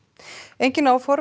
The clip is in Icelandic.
engin áform